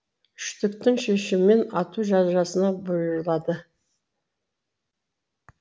үштіктің шешімімен ату жазасына бұйырылады